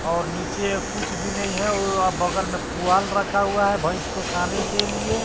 और नीचे कुछ भी नहीं है वो बगल में पुआल रखा हुआ है भइस को खाने के लिए।